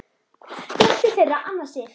Dóttir þeirra Anna Sif.